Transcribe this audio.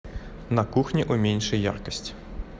на кухне уменьши яркость